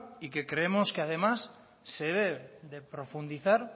y que creemos además se debe de profundizar